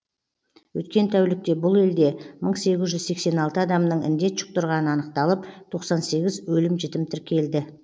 өткен тәулікте бұл елде мың сегіз жүз сексен алты адамның індет жұқтырғаны анықталып тоқсан сегіз өлім жітім тіркелді